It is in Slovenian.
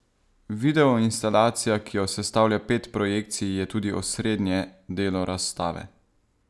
Videoinstalacija, ki jo sestavlja pet projekcij, je tudi osrednje delo razstave.